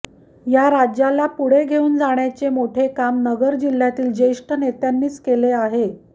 या राज्याला पुढे घेऊन जाण्याचे मोठे काम नगर जिल्ह्यातील ज्येष्ठ नेत्यांनीच केले आहे